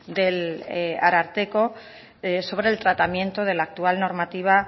del ararteko sobre el tratamiento de la actual normativa